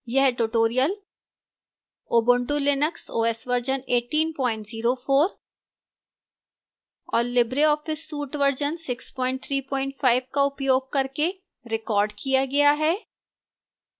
यह tutorial ubuntu linux os version 1804 और libreoffice suite version 635 का उपयोग करके recorded किया गया है